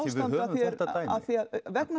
við höfum þetta dæmi vegna